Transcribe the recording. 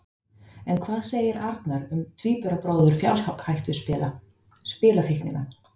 En hvað segir Arnar um tvíburabróður fjárhættuspila, spilafíknina?